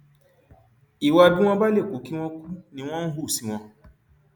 ìwà bí wọn bá lè kú kí wọn kú ni wọn ń hù sí wọn